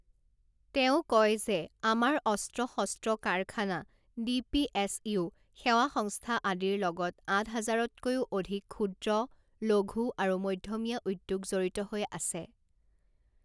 তেওঁ কয় যে, আমাৰ অস্ত্ৰ শস্ত্ৰ কাৰখানা, ডি পি এছ ইউ, সেৱা সংস্থা আদিৰ লগত আঠ হাজাৰতকৈও অধিক ক্ষূদ্ৰ, লঘূ আৰু মধ্যমীয়া উদ্যোগ জড়িত হৈ আছে।